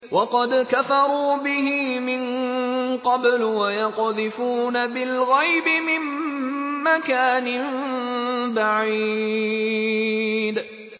وَقَدْ كَفَرُوا بِهِ مِن قَبْلُ ۖ وَيَقْذِفُونَ بِالْغَيْبِ مِن مَّكَانٍ بَعِيدٍ